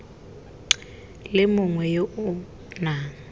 le mongwe yo o nang